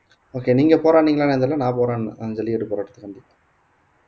okay நீங்க போராடுனீங்களான்னு தெரியலே நான் போராடினேன் அந்த ஜல்லிக்கட்டு போராட்டத்துக்கு வந்து